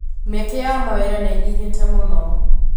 Mĩeke ya mawĩra nĩnyihĩte mũno.